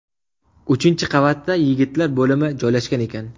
Uchinchi qavatda yigitlar bo‘limi joylashgan ekan.